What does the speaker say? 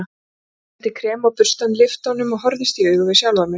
Ég setti krem á burstann, lyfti honum og horfðist í augu við sjálfan mig.